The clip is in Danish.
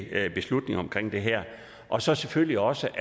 endelig beslutning omkring det her og så selvfølgelig også